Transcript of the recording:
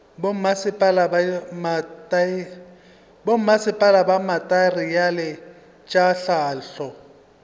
bommasepala fa dimateriale tša hlahlo